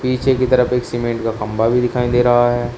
पीछे की तरफ एक सीमेंट का खंबा भी दिखाई दे रहा है।